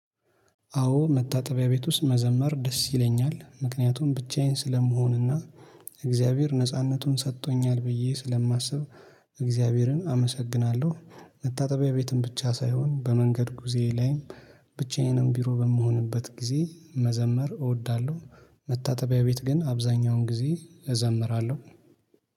አዎ መታጠቢያ ቤት ውስጥ መዘመር ደስ ይለኛል ምክንያቱም ብቻዬን ስለመሆንና እግዚአብሔር ነጻነቱን ሰጥቶኛል ብዬ ስለማስብ እግዚአብሔርን አመሰግናለሁ። መታጠቢያ ቤትን ብቻ ሳይሆን በመንገድ ጊዜ ላይም ብቻዬንም ቢሮ በምሆንበት ጊዜ መዘመር እወዳለሁ። መታጠቢያ ቤት ግን አብዛኛውን ጊዜ እዘምራለሁ።